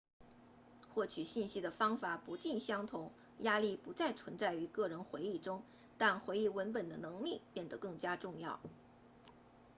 获取信息的方法不尽相同压力不再存在于个人回忆中但回忆文本的能力变得更加重要